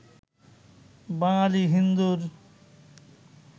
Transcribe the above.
বাঙালি হিন্দুর